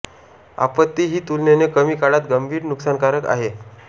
आपत्ती ही तुलनेने कमी काळात गंभीर नुकसानकारक आहे